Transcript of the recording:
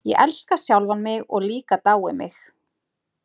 Ég elska sjálfan mig og líka dái mig.